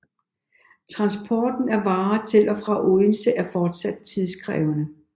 Transporten af varer til og fra Odense var fortsat tidskrævende